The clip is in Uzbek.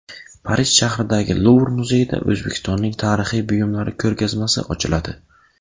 Parij shahridagi Luvr muzeyida O‘zbekistonning tarixiy buyumlari ko‘rgazmasi ochiladi.